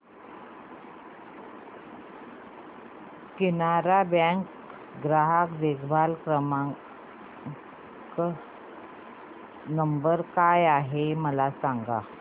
Canara Bank चा ग्राहक देखभाल नंबर काय आहे मला सांगा